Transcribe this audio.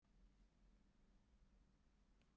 Hún reisir sig upp og teygir sig í áttina til hans.